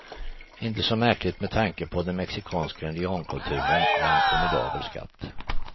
Inte så märkligt med tanke på att den mexikanska indiankulturen är en formidabel skatt.